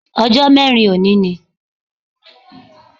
Ọjó mẹ́rin òní ni